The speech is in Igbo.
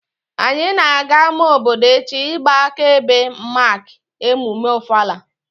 Anyị na-aga ama obodo echi ịgba aka ebe Mak emume Ofala